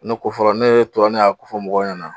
Ne ko fɔra nee tora ne y'a ko fɔ mɔgɔw ɲɛna